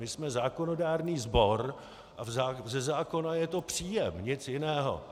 My jsme zákonodárný sbor a ze zákona je to příjem, nic jiného.